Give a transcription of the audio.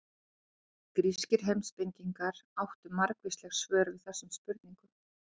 Grískir heimspekingar áttu margvísleg svör við þessum spurningum.